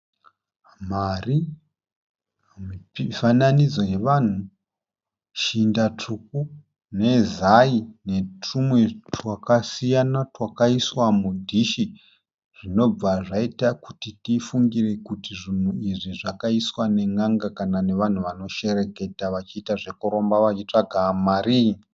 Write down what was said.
Mari, mifananidzo yevanhu, shinda tsvuku, nezai netumwe twakasiyana twakaiswa mu dhishi zvinobva zvaita kuti tifungire kuti zvinhu izvi zvakaiswa ne n'anga kana nevanhu vanoshereketa vachiita zve kuroromba vachitsvaga mari.